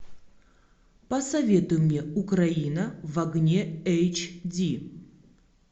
посоветуй мне украина в огне эйч ди